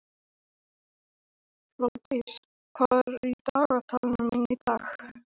Ég skil bara ekki hvað er að gerast.